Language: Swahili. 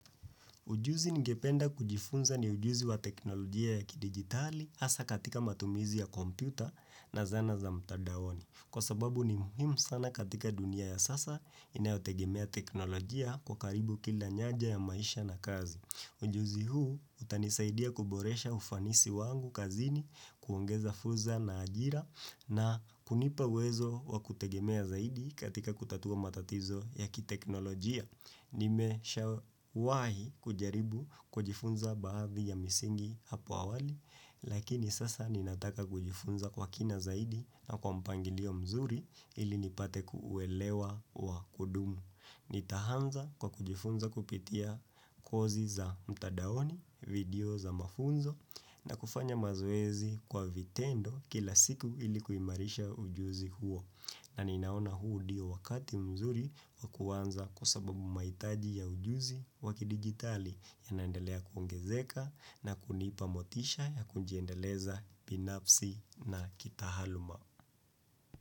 Ujuzi ningependa kujifunza ni ujuzi wa teknolojia ya kidigitali hasa katika matumizi ya kompyuta na zana za mtandaoni. Kwa sababu ni muhimu sana katika dunia ya sasa inayotegemea teknolojia kwa karibu kila nyaja ya maisha na kazi. Ujuzi huu utanisaidia kuboresha ufanisi wangu kazini kuongeza fursa na ajira na kunipa uwezo wa kutegemea zaidi katika kutatua matatizo ya kiteknolojia. Nimeshawahi kujaribu kujifunza baadhi ya misingi hapo awali Lakini sasa ninataka kujifunza kwa kina zaidi na kwa mpangilio mzuri ili nipate kuuelewa wa kudumu Nitaanza kwa kujifunza kupitia kozi za mtandaoni, video za mafunzo na kufanya mazoezi kwa vitendo kila siku ili kuimarisha ujuzi huo na ninaona huu ndiyo wakati mzuri wa kuanza kusababu mahitaji ya ujuzi wakidigitali yanaendelea kuongezeka na kunipa motisha ya kujiendeleza binafsi na kitaaluma.